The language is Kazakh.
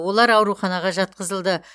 олар ауруханаға жатқызылды